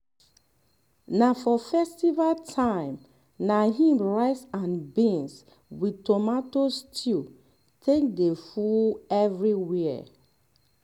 na for festival time na im rice and beans with tomato stew take dey full everywhere